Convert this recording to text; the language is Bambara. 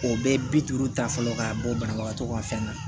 O bɛ bi duuru ta fɔlɔ ka bɔ banabagatɔ ka fɛn na